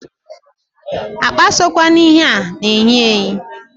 Akpa sokwe na ihe a na-eyi eyi.